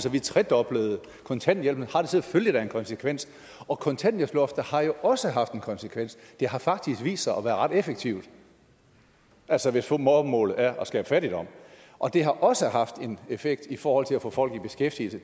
at vi tredoblede kontanthjælpen har det da selvfølgelig en konsekvens og kontanthjælpsloftet har jo også haft en konsekvens det har faktisk vist sig at være ret effektivt altså hvis formålet er at skabe fattigdom og det har også haft en effekt i forhold til at få folk i beskæftigelse